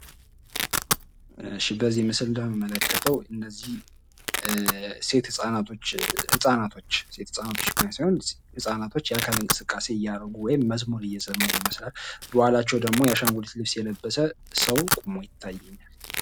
በዚህ ምስል እንደምንመለከተዉ እነዚህ ሴት ህፃናቶች ህፃናቶች የአካል እንቅስቃሴ እያደረጉ ወይም መዝሙር እየዘመሩ ይመስላል። ከኋላቸዉ ደግሞ የአሻንጉሊት ልብስ የለበሰ ሰዉ ቆሞ ይታያል።